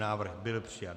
Návrh byl přijat.